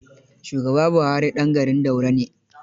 Shugaba Buhari ɗan garin Daura ne.